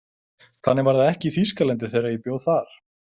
Þannig var það ekki í Þýskalandi þegar ég bjó þar.